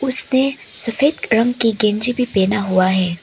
उसने सफेद रंग की गंजी भी पहना हुआ है।